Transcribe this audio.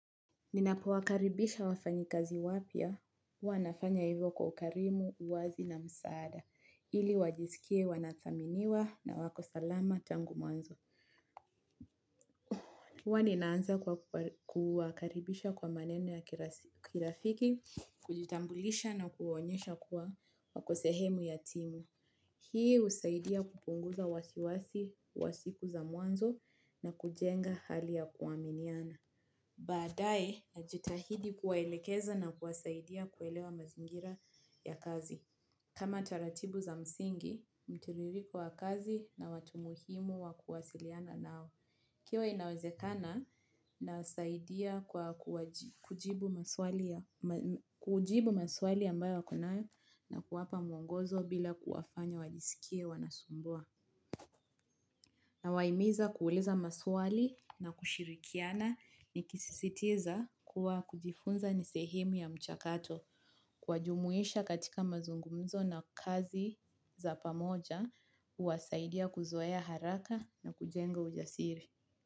Ninapowakaribisha wafanyikazi wapya huwa nafanya hivyo kwa ukarimu, uwazi na msaada. Ili wajisikie wanathaminiwa na wako salama tangu mwanzo. Huwa ninaanza kuwakaribisha kwa maneno ya kirafiki, kujitambulisha na kuonyesha kuwa wako sehemu ya timu. Hii husaidia kupunguza wasiwasi wa siku za mwanzo na kujenga hali ya kuaminiana. Baadaye najitahidi kuwaelekeza na kuwasaidia kuelewa mazingira ya kazi. Kama taratibu za msingi, mtiririko wa kazi na watu muhimu wa kuwasiliana nao. Ikiwa inawezekana nawasaidia kujibu maswali ambayo wako nayo, na kuwapa mwongozo bila kuwafanya wajisikie wanasumbua. Nawahimiza kueleza maswali na kushirikiana nikisisitiza kuwa kujifunza ni sehemu ya mchakato. Kuwajumuisha katika mazungumzo na kazi za pamoja, huwasaidia kuzoea haraka na kujenga ujasiri.